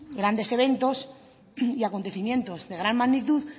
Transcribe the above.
grandes eventos y acontecimientos de gran magnitud